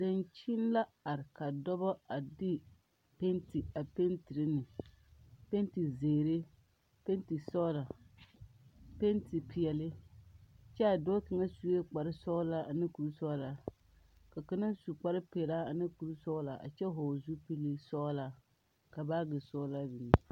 Dankyini la are ka dɔbɔ a de peete a peetere ne peete zeere ne peete sɔgla peete peɛle kyɛ a dɔɔ kaŋa sue kpare sɔglɔ ane kuri sɔglaa ka kaŋa du kpare pelaa ane kuri sɔglaa a kyɛ vɔgle o zupili sɔglaa ka baagi sɔglaa biŋ be.